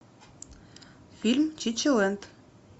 фильм чичилэнд